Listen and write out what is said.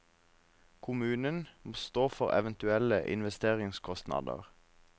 Kommunen må stå for eventuelle investeringskostnader.